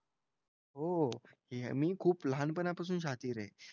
हो. मी खूप लहानपणापासून शातीर आहे.